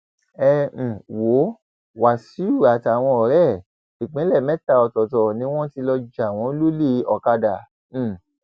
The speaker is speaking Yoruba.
ẹ um wo wáṣíù àtàwọn ọrẹ ẹ ìpínlẹ mẹta ọtọọtọ ni wọn ti lọọ jà wọn lólè ọkadà um